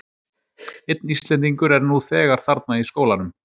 Einn Íslendingur er nú þegar þarna í skólanum.